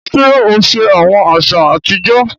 Ṣe o ṣe awọn aṣa atijọ?